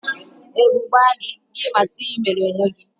Ebu gbaa gị, gị mata ihe ị mere onwe gị